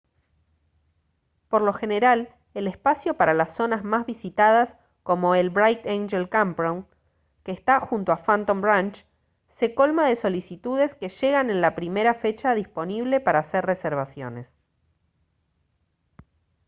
por lo general el espacio para las zonas más visitadas como el bright angel campground que está junto a phantom ranch se colma de solicitudes que llegan en la primera fecha disponible para hacer reservaciones